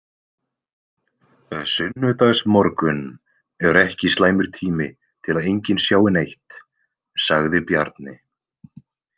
Sunnudagsmorgunn er ekki slæmur tími til að enginn sjái neitt, sagði Bjarni.